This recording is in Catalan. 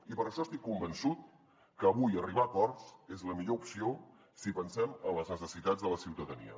i per això estic convençut que avui arribar a acords és la millor opció si pensem en les necessitats de la ciutadania